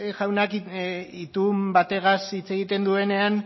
jaunarekin itun batez hitz egiten duenean